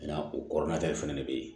N'a o kɔrɔ na ta de fɛnɛ be yen